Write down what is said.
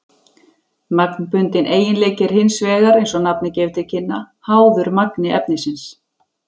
Magnbundinn eiginleiki er hins vegar, eins og nafnið gefur til kynna, háður magni efnisins.